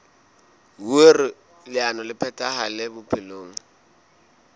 hoer leano le phethahale bophelong